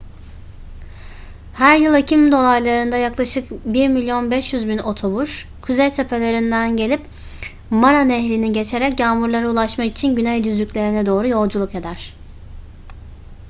her yıl ekim dolaylarında yaklaşık 1,5 milyon otobur kuzey tepelerinden gelip mara nehrini geçerek yağmurlara ulaşmak için güney düzlüklerine doğru yolculuk eder